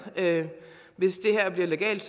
hvis det her bliver legalt